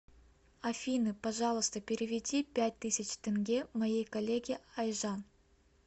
афина пожалуйста переведи пять тысяч тенге моей коллеге айжан